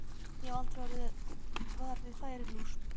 Ég hef aldrei orðið var við færilús.